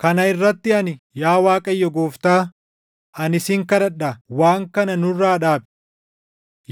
Kana irratti ani, “Yaa Waaqayyo Gooftaa, ani sin kadhadhaa, waan kana nurraa dhaabi!